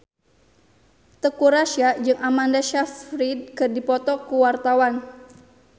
Teuku Rassya jeung Amanda Sayfried keur dipoto ku wartawan